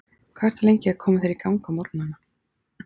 Hvað ertu lengi að koma þér í gagn á morgnana?